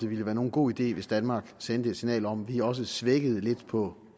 ville være nogen god idé hvis danmark sendte et signal om at vi også slækkede lidt på